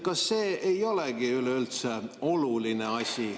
Kas see ei olegi üleüldse oluline asi?